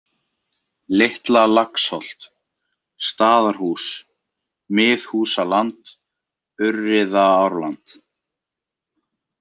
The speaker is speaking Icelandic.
Litla-Laxholt, Staðarhús, Miðhúsaland, Urriðaárland